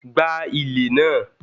gba ilè naa!